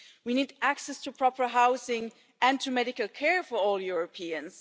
We need access to proper housing and to medical care for all Europeans.